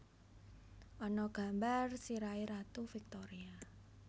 Ana gambar sirahe Ratu Victoria